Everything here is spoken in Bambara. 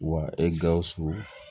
Wa e gawusu